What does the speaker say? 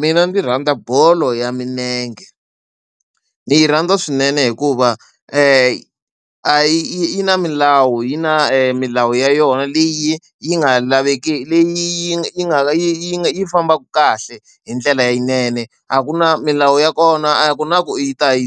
Mina ndzi rhandza bolo ya milenge. Ni yi rhandza swinene hikuva yi a yi yi na milawu yi na milawu ya yona leyi yi nga laveki leyi yi yi nga yi nga yi fambaka kahle hi ndlela leyinene, a ku na milawu ya kona a ku na ku u ta yi .